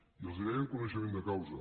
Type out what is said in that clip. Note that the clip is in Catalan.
i els ho deia amb coneixement de causa